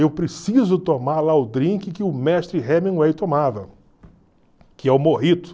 Eu preciso tomar lá o drink que o mestre Hemingway tomava, que é o mojito.